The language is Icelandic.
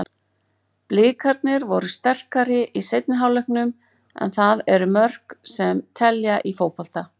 Blikarnir voru sterkari í seinni hálfleiknum, en það eru mörkin sem telja í fótbolta.